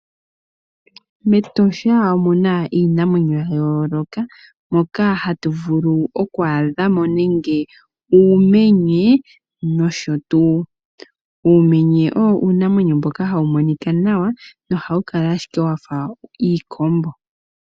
MEtosha omuna iinamwenyo yayooloka moka hatuvulu okuadhamo nenge uumenye nosho tu. Uumenye owo uunamwenyo mboka hawumonika nawa na ohawukala ashike wafa iikombo.